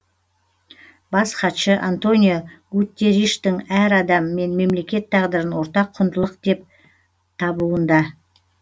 бас хатшы антонио гутерриштің әр адам мен мемлекет тағдырын ортақ құндылық деп табуында